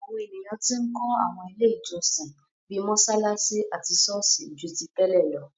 Àwọn ènìyàn tí ń kó àwọn ilé ìjọsìn, bíi mọsalasi àti sọ́ọ̀sì, ju ti tẹ́lẹ̀ lọ.